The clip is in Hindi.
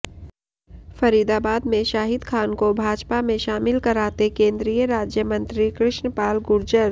फरीदाबाद में शाहिद खान को भाजपा में शामिल कराते केन्द्रीय राज्यमंत्री कृष्णपाल गुर्जर